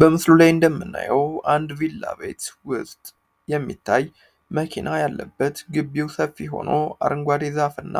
በምስሉ ላይ እንደምናየው አንድ ቪላ ቤት ውስጥ የሚታይ መኪና ያለበት ግቢው ሰፊ ሆኖ አርንጓዴ ዛፍና